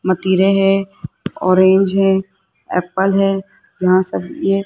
मतिरे है ऑरेंज है एप्पल है यहां सब ये --